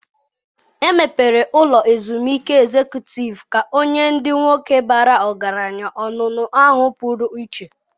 Emebere ụlọ ezumike ezekutịv ka ọ nye ndị nwoke bara ọgaranya onuno ahụ pụrụ iche.